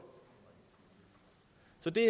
det